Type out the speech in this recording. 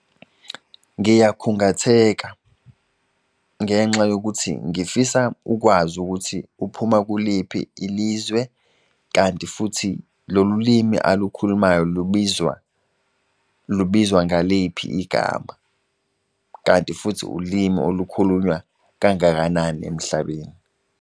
Ngiyakhungatheka ngenxa yokuthi ngifisa ukwazi ukuthi uphuma kuliphi ilizwe. Kanti futhi lolu limi olukhulumayo lubizwa ngaliphi igama, kanti futhi ulimi olukhulunywa kangakanani emhlabeni.